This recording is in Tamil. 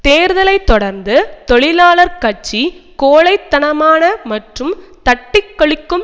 தேர்தலை தொடர்ந்து தொழிலாளர் கட்சி கோழை தனமான மற்றும் தட்டிக்கழிக்கும்